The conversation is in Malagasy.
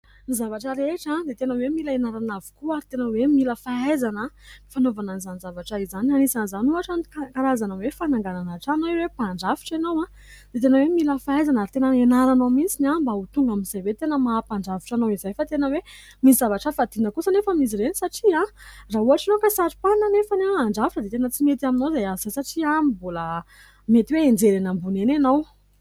Ny zavatra rehetra dia tena hoe mila hianarana avokoa ary tena hoe mila fahaizana ny fanaovana an'izany zavatra izany. Anisan'izany ohatra ny karazana hoe fananganana trano raha hoe mpandrafitra ianao dia tena hoe mila fahaizana ary tena hianaranao mihitsy mba ho tonga amin'izay hoe tena maha mpandrafitra anao izay fa tena hoe misy zavatra fadiana kosa anefa amin'izy ireny satria raha ohatra ianao ka saro-panina anefa handrafitra dia tena tsy mety aminao izay asa izay satria mbola mety hoe hianjera eny ambony eny ianao.